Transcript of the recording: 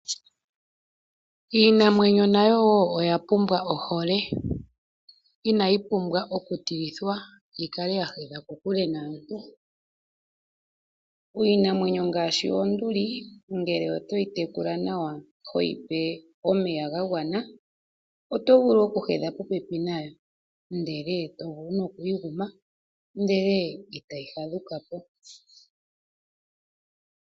Iinamwenyo nayo oya pumbwa oohole, Inayi pumbwa okutilithwa , yikale ya hedha kokule naantu. Iinamwenyo ngaashi oonduli, ngele to yi tekula nawa, ho yi pe omeya ga gwana, oto mvulu oku hedha pope pi nayo, ndele tomvulu noku yi guma ndele ita yi fadhuka po.